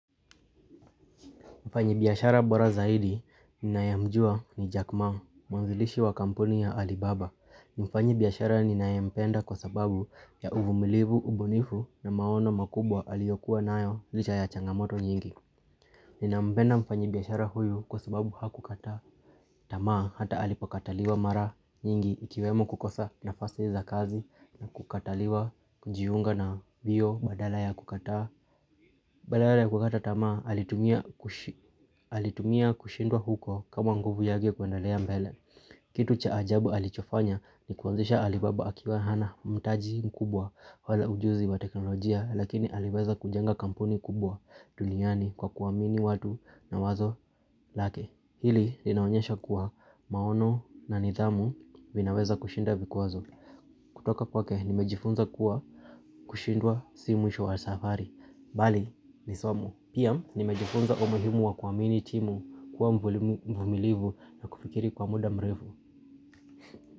Mfanyibiashara bora zaidi ninayemjua ni Jack ma, mwanzilishi wa kampuni ya Alibaba. Mfanyi biashara ninayempenda kwa sababu ya uvumilivu, ubunifu na maono makubwa aliyokuwa nayo licha ya changamoto nyingi. Ninampenda mfanyi biashara huyu kwa sababu hakukata. Tamaa hata alipokataliwa mara nyingi ikiwemo kukosa nafasi za kazi na kukataliwa kujiunga na mbio badala ya kukata. Badala ya kukata tamaa alitumia kushindwa huko kama nguvu yake kuendalea mbele. Kitu cha ajabu alichofanya ni kuanzisha alibaba akiwa hana mtaji mkubwa wala ujuzi wa teknolojia lakini aliweza kujenga kampuni kubwa duniani kwa kuamini watu na wazo lake. Hili linaonyesha kuwa maono na nidhamu vinaweza kushinda vikwazo. Kutoka kwake nimejifunza kuwa kushindwa si mwisho wa safari. Bali, nisomo Pia, nimejifunza umuhimu wa kuamini timu kuwa mvumilivu na kufikiri kwa muda mrefu.